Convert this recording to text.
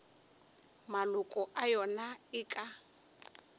maloko a yona e ka